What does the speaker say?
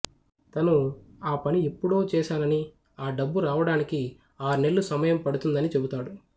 తను ఆపని ఎప్పుడో చేశానని ఆడబ్బు రావడానికి ఆర్నెల్లు సమయం పడుతుందనీ చెపుతాడు